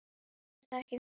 er það ekki?